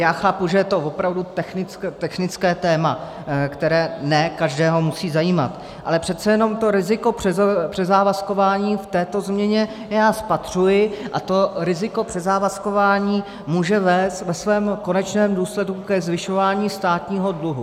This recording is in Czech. Já chápu, že je to opravdu technické téma, které ne každého musí zajímat, ale přece jenom to riziko přezávazkování v této změně já spatřuji, a to riziko přezávazkování může vést ve svém konečném důsledku ke zvyšování státního dluhu.